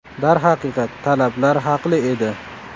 Darhaqiqat, talablar haqli edi.